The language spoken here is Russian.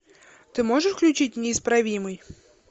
ты можешь включить неисправимый